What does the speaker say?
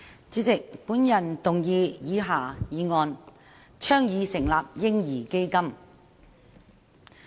主席，我動議以下議案：倡議成立"嬰兒基金"。